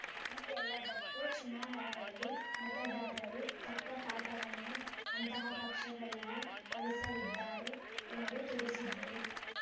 ಈ ಎಲ್ಲದಕ್ಕೂ ಚುನಾವಣೆಯಲ್ಲಿ ಮತದಾರರು ತಕ್ಕ ಪಾಠವನ್ನೇ ಅಂತಹ ಪಕ್ಷಗಳಿಗೆ ಕಲಿಸಲಿದ್ದಾರೆ ಎಂದು ತಿಳಿಸಿದ್ದರು